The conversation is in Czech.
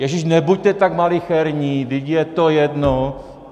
Ježíš, nebuďte tak malicherní, vždyť je to jedno!